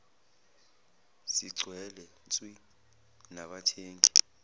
sigcwele nswi nabathengi